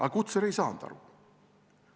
Aga Kutser ei saanud aru.